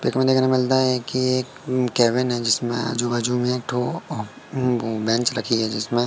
pick में देखने मिलता है कि एक केबिन है जिसमें आजू बाजु में एक ठो उम बेंच लगी है जिसमें--